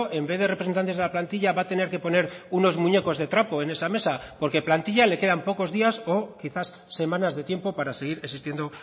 en vez de representantes de la plantilla va a tener que poner unos muñecos de trapo en esa mesa porque plantilla le quedan pocos días o quizás semanas de tiempo para seguir existiendo